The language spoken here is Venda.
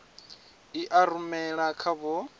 i a rumela kha vho